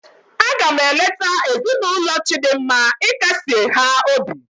A ga m eleta ezinụlọ Chidinma ịkasie ha obi taa.